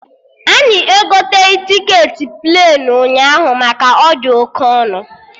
Anyị egoteghị tiketi ig k ala ụnyaahụ maka ọ dị oke ọnụ